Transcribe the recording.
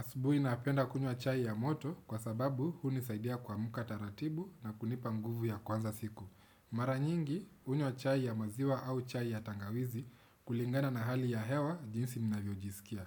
Asubuhi napenda kunywa chai ya moto kwa sababu hunisaidia kuamka taratibu na kunipa nguvu ya kuanza siku. Mara nyingi hunywa chai ya maziwa au chai ya tangawizi kulingana na hali ya hewa jinsi ninavyojisikia.